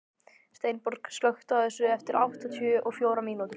Steinborg, slökktu á þessu eftir áttatíu og fjórar mínútur.